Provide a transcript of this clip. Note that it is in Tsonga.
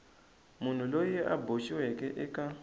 munhu loyi a boxiweke eka